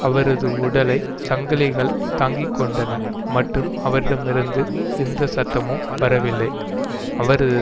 அவரது உடலை சங்கிலிகள் தாங்கிக்கொண்டன மற்றும் அவரிடமிருந்து எந்த சத்தமும் வரவில்லை அவரது